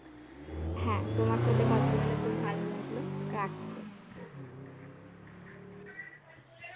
হ্যাঁ তোমার সাথে কথা বলে খুব ভালো লাগলো